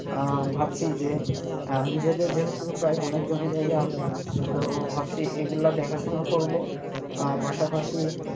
আহ ভাবছি যে নিজেদের যেহেতু প্রায় অনেক জমিজায়গা আছে তো ভাবছি এগুলা দেখাশোনা করবো আহ পাশাপাশি,